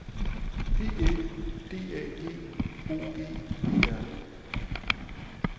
P Æ D A G O G E R